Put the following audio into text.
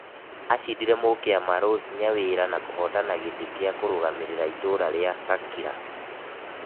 Acindire mũkĩama Rose nyawira na kũhotana gĩtĩ kia kurũgamĩrĩra itũra ria Gakira